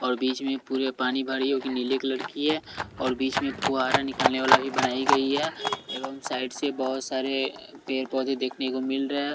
और बीच में पूरे पानी भरी हैकि नीले कलर की है और बीच में फ़ुहारा निकलने वाला भी बनाई गई है एवं साइड से बहुत सारे पैर पौधे देखने को मिल रहे हैं।